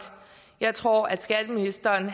jeg tror at skatteministeren